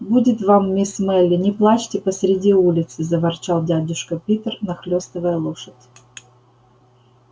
будет вам мисс мелли не плачьте посреди улицы заворчал дядюшка питер нахлёстывая лошадь